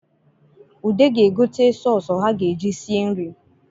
Ude ga-egote sọsụ ha ga-eji sie nri